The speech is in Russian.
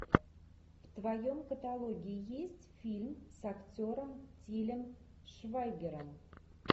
в твоем каталоге есть фильм с актером тилем швайгером